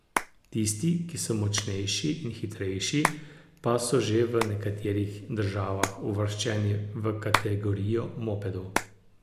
Tisti, ki so močnejši in hitrejši, pa so že v nekaterih državah uvrščeni v kategorijo mopedov.